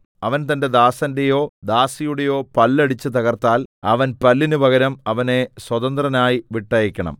അവൻ തന്റെ ദാസന്റെയോ ദാസിയുടെയോ പല്ല് അടിച്ചു തകർത്താൽ അവൻ പല്ലിന് പകരം അവനെ സ്വതന്ത്രനായി വിട്ടയയ്ക്കണം